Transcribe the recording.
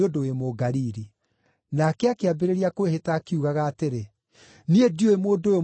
Nake akĩambĩrĩria kwĩhĩta akiugaga atĩrĩ, “Niĩ ndiũĩ mũndũ ũyũ mũraaria ũhoro wake.”